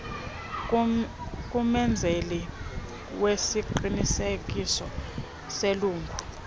kumenzeli wesiqinisekiso selungu